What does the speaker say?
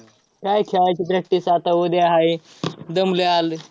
काय खेळाची practice आता उद्या हाय. दमलोय, आलोय.